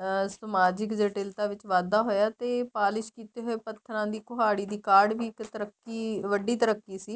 ਅਹ ਸਾਮਜਿਕ ਜੱਟਿਲ ਤਾਂ ਵਿੱਚ ਵਾਧਾ ਹੋਇਆ ਤੇ ਪਾਲਿਸ ਕੀਤੇ ਹੋਏ ਪੱਥਰਾਂ ਦੀ ਕੁਹਾੜੀ ਦੀ ਕਾਢ ਵੀ ਇੱਕ ਤਰੱਕੀ ਵੱਡੀ ਤਰੱਕੀ ਸੀ